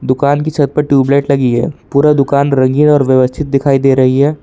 दुकान की छत पर ट्यूबलाइट लगी है पूरा दुकान रंगीन और व्यवस्थित दिखाई दे रही है।